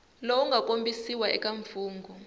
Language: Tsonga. lowu nga kombisiwa eka mfungho